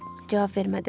Cavab vermədim.